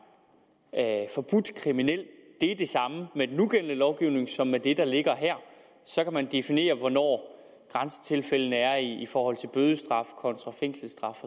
at er forbudt kriminelt er det samme med den nugældende lovgivning som med det der ligger her så kan man definere hvor grænsetilfældene er i forhold til bødestraf kontra fængselsstraf